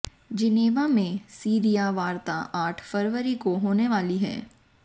Geneva में Syria वार्ता आठ फरवरी को होने वाली है